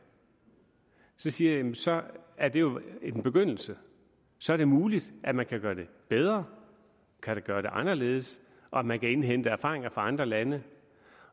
så siger jeg jamen så er det jo en begyndelse så er det muligt at man kan gøre det bedre kan gøre det anderledes og at man kan indhente erfaringer fra andre lande